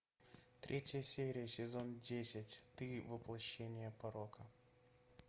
третья серия сезон десять ты воплощение порока